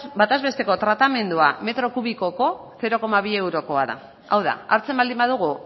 bataz besteko tratamendua metro kubikoko zero koma bi eurokoa da hau da hartzen baldin badugu